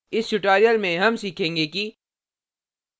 इस tutorial में हम सीखेंगे कि